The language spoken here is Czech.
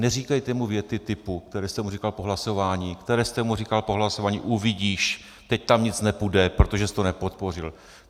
Neříkejte mu věty typu, které jste mu říkal po hlasování, které jste mu říkal po hlasování: uvidíš, teď tam nic nepůjde, protože jsi to nepodpořil.